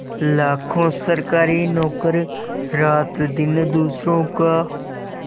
लाखों सरकारी नौकर रातदिन दूसरों का